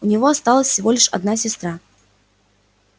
у него осталась всего лишь одна сестра